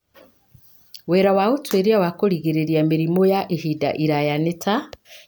Wĩra wa ũtuĩria wa kũrigĩrĩria mĩrimũ ya ihinda iraya nĩ ta;